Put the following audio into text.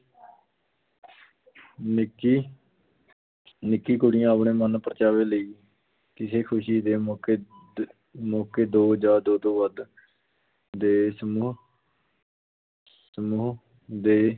ਨਿੱਕੀ ਨਿੱਕੀ ਕੁੜੀਆਂ ਆਪਣੇ ਮਨ-ਪਰਚਾਵੇ ਲਈ, ਕਿਸੇ ਖ਼ੁਸ਼ੀ ਦੇ ਮੌਕੇ ਦੇ ਮੌਕੇ ਦੋ ਜਾਂ ਦੋ ਤੋਂ ਵੱਧ ਦੇ ਸਮੂਹ ਸਮੂਹ ਦੇ